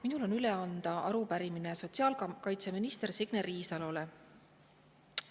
Minul on üle anda arupärimine sotsiaalkaitseminister Signe Riisalole.